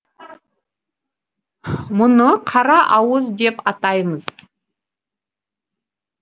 мұны қара ауыз деп атаймыз